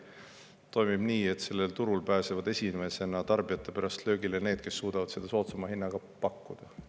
See toimib nii, et sellel turul pääsevad tarbijate mõttes esimesena löögile need, kes suudavad soodsama hinnaga pakkuda.